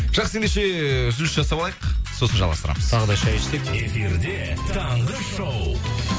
жақсы ендеше эээ үзіліс жасап алайық сосын жалғастырамыз тағы да шай ішсек эфирде таңғы шоу